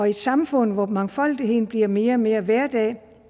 i et samfund hvor mangfoldigheden bliver mere og mere hverdag